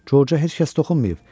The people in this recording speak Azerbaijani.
Corca heç kəs toxunmayıb.